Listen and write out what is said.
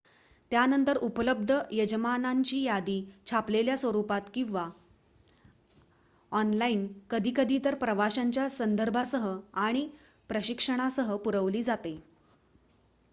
त्यानंतर उपलब्ध यजमानांची यादी छापलेल्या स्वरुपात आणि/किंवा ऑनलाइन कधीकधी इतर प्रवाशांच्या संदर्भांसह आणि परीक्षणांसह पुरवली जाते